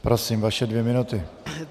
Prosím, vaše dvě minuty.